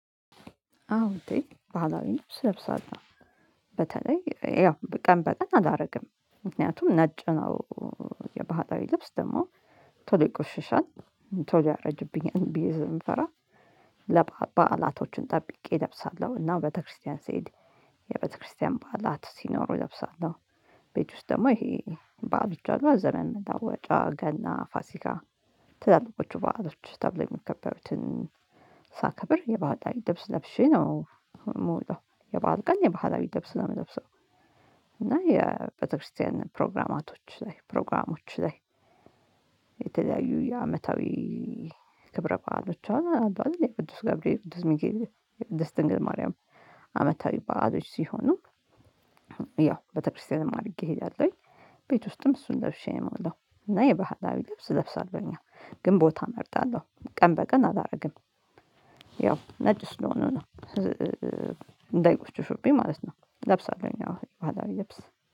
አዎ እንዴ ባህላዊ ልብስ እለብሳለሁ። በተለይ ያው በቀን በቀን አላደርግም ምክንያቱም ነጭ ነው። የባህላዊ ልብስ ደግሞ ቶሎ ይቆሽሻል። ቶሎ ያረጅብኛል ብዬ ስለምፈራ። ለባዕላቶቹን ጠብቄ እለብሳለሁ እና ቤተክርስቲያን ስሄድ የቤተክርስቲያን ባህላት ሲኖሩ እለብሳለሁ። ቤት ውስጥ ደግሞ ይሄ በዓሎች አሉ አ ዘመን መለወጫ ገና ፋሲካ። ትላልቆቹ ባህሎች ተብለው የሚከበሩትን ሳክብር የባህላዊ ላይ ልብስ ለብሼ ነው የምወጣው። የባህል ቀን የባህላዊ ልብስ ነው የምለብሰው። እና የቤተክርስቲያን ፕሮግራማቶች ላይ ፕሮግራሞች ላይ። የተለያዩ የአመታዊ ክብረ በዓሎች አንዱ አዲስ የቅዱስ ገብርኤል ቅዱስ ሚጊር የቅዱስ ድንግል ማርያም አመታዊ በዓሎች ሲሆኑ። ያው ቤተክርስቲያንም አድርጌ እሄዳለሁኝ። ቤት ውስጥም እሱን ለብሼ ነው የምውለው እና የባህላዊ ልብስ እለብሳለሁኝ። አው ግን ቦታ እመርጣለሁ ቀን በቀን አላደርግም። ያው ነጭ ስለሆነ ነው እንዳይቆሽሹብኝ ማለት ነው። እለብሳለሁኝ አዎ ባህላዊ ልብስ